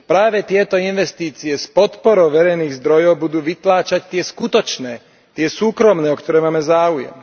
Práve tieto investície s podporou verejných zdrojov budú vytláčať tie skutočné, tie súkromné, o ktoré máme záujem.